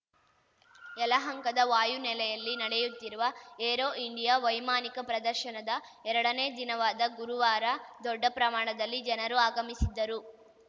ಯಲಹಂಕದ ವಾಯು ನೆಲೆಯಲ್ಲಿ ನಡೆಯುತ್ತಿರುವ ಏರೋ ಇಂಡಿಯಾ ವೈಮಾನಿಕ ಪ್ರದರ್ಶನದ ಎರಡನೇ ದಿನವಾದ ಗುರುವಾರ ದೊಡ್ಡ ಪ್ರಮಾಣದಲ್ಲಿ ಜನರು ಆಗಮಿಸಿದ್ದರು